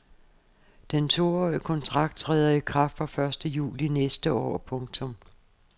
Den toårige kontrakt træder i kraft fra første juli næste år. punktum